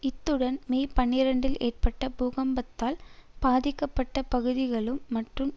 இத்துடன் மே பனிரெண்டில் ஏற்பட்ட பூகம்பத்தால் பாதிக்கப்பட்ட பகுதிகளும் மற்றும்